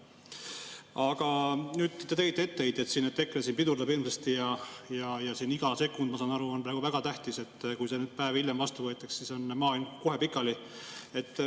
Aga te tegite etteheiteid, et EKRE siin pidurdab hirmsasti, ja iga sekund, ma saan aru, on väga tähtis, sest kui see päev hiljem vastu võetakse, siis on maailm kohe pikali.